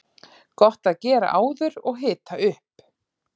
Gott að gera áður og hita upp.